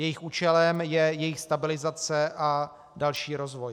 Jejich účelem je jejich stabilizace a další rozvoj.